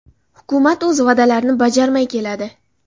Hukumat o‘z va’dalarini bajarmay keladi.